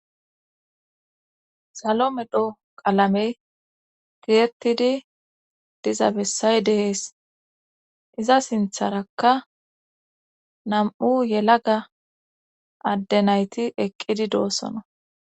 Salo medho qalamey giretidi diza bessay dehees iza sintharakka nam7u yelaga adde nayti eqqidi doossona